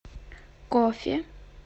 кофе